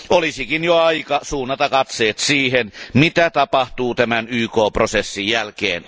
Olisikin jo aika suunnata katseet siihen, mitä tapahtuu tämän YK prosessin jälkeen.